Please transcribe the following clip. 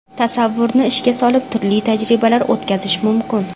Tasavvurni ishga solib, turli tajribalar o‘tkazish mumkin.